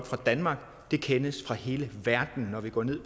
fra danmark det kendes fra hele verden når vi går ned